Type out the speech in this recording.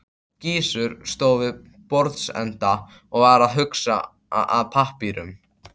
Gizur stóð við borðsenda og var að huga að pappírum.